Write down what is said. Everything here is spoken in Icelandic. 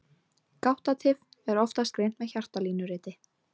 Gáttatif er oftast greint með hjartalínuriti.